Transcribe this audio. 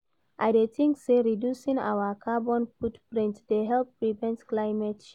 I dey think say reducing our carbon footprint dey help prevent climate change.